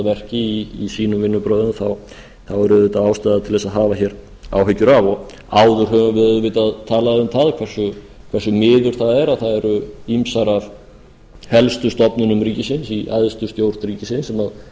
verki í sínum vinnubrögðum þá er auðvitað ástæða til að hafa áhyggjur af áður höfum við auðvitað talað um það hversu miður það er að það eru ýmsar af helstu stofnunum ríkisins í æðstu stjórn ríkisins sem